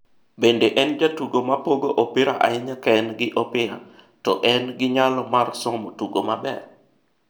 bende en jatugo ma pogo opira ahinya kaen gi opira to en gi nyalo mar somo tugo maber.